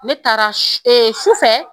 Ne taara sufɛ